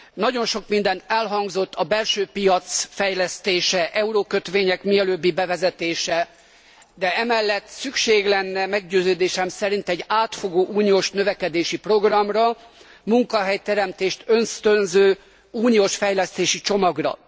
Nagyon sok minden elhangzott a belső piac fejlesztése, eurókötvények mielőbbi bevezetése, de emellett szükség lenne meggyőződésem szerint egy átfogó uniós növekedési programra, munkahelyteremtést ösztönző uniós fejlesztési csomagra.